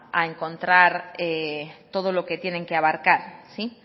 a encontrar todo lo que vayan a abarcar